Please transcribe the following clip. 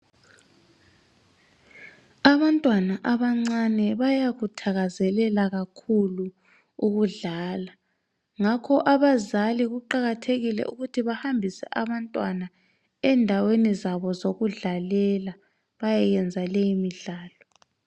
Abantwana abancane bayakuthakazelela kakhulu ukudlala. Ngakho abazali kuqakathekile ukuthi bahambise abantwana endaweni zabo zokudlalela, bayeyenza leyi midlalo.